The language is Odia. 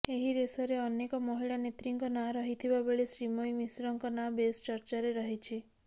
ଏହି ରେସରେ ଅନେକ ମହିଳା ନେତ୍ରୀଙ୍କ ନାଁ ରହିଥିବାବେଳେ ଶ୍ରୀମୟୀ ମିଶ୍ରଙ୍କ ନାଁ ବେଶ୍ ଚର୍ଚ୍ଚାରେ ରହିଛି